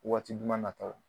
Waati duma nataw